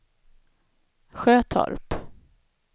Sjötorp